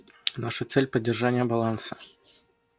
наша цель поддержание баланса